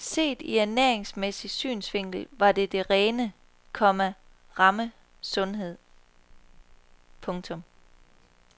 Set i ernæringsmæssig synsvinkel var det den rene, komma ramme sundhed. punktum